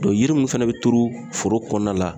Dɔn yiri mun fɛnɛ be turu foro kɔnɔna la